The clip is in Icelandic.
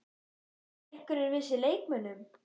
Bæta einhverjir við sig leikmönnum?